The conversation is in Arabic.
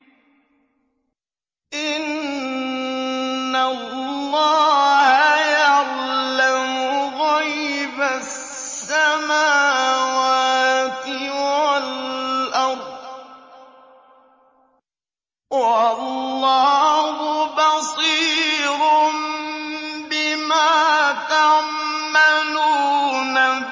إِنَّ اللَّهَ يَعْلَمُ غَيْبَ السَّمَاوَاتِ وَالْأَرْضِ ۚ وَاللَّهُ بَصِيرٌ بِمَا تَعْمَلُونَ